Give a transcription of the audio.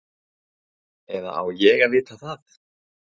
Eða á ég að vita það?